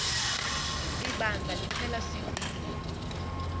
ibandla liphela sivile